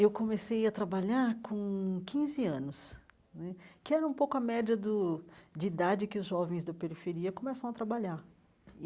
Eu comecei a trabalhar com quinze anos né, que era um pouco a média do de idade que os jovens da periferia começam a trabalhar.